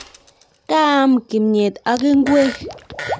kaam kimnyet ak ingweng